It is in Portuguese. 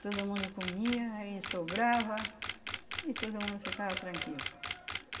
Todo mundo comia, aí sobrava e todo mundo ficava tranquilo.